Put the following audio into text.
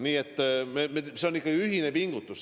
Nii et see on ikka ühine pingutus.